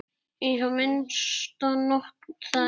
Í það minnsta nokkrum þeirra.